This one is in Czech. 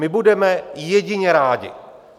My budeme jedině rádi.